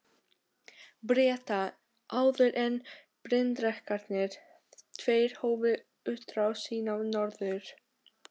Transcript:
Breta, áður en bryndrekarnir tveir hófu útrás sína norður.